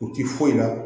U ti foyi la